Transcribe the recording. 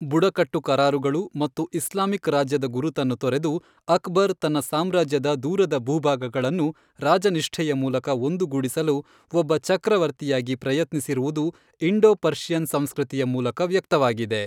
ಬುಡಕಟ್ಟು ಕರಾರುಗಳು ಮತ್ತು ಇಸ್ಲಾಮಿಕ್ ರಾಜ್ಯದ ಗುರುತನ್ನು ತೊರೆದು, ಅಕ್ಬರ್ ತನ್ನ ಸಾಮ್ರಾಜ್ಯದ ದೂರದ ಭೂಭಾಗಗಳನ್ನು ರಾಜನಿಷ್ಠೆಯ ಮೂಲಕ ಒಂದುಗೂಡಿಸಲು ಒಬ್ಬ ಚಕ್ರವರ್ತಿಯಾಗಿ ಪ್ರಯತ್ನಿಸಿರುವುದು, ಇಂಡೋ ಪರ್ಷಿಯನ್ ಸಂಸ್ಕೃತಿಯ ಮೂಲಕ ವ್ಯಕ್ತವಾಗಿದೆ.